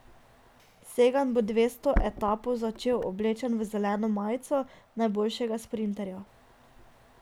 Sagan bo deveto etapo začel oblečen v zeleno majico najboljšega sprinterja.